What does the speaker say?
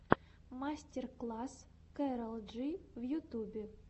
мастер класс кэрол джи в ютюбе